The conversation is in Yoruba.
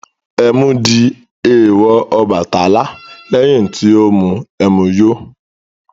Ẹmu di èèwọ̀ Ọbàtálá lẹ́yìn tí ó mu ẹmu yó.